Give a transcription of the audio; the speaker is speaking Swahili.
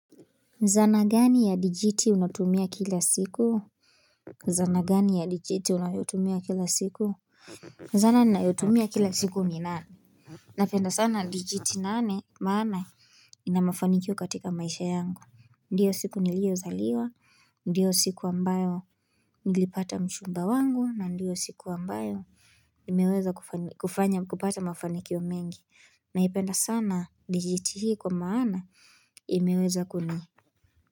Zana gani ya dijiti unatumia kila siku? Zana gani ya dijiti unayotumia kila siku? Zana ninayotumia kila siku ni nane? Napenda sana dijiti nane maana ina mafanikio katika maisha yangu. Ndiyo siku niliyozaliwa, ndiyo siku ambayo nilipata mchumba wangu, na ndiyo siku ambayo imeweza kufanya kupata mafanikio mengi. Naipenda sana dijiti hii kwa maana imeweza kuni.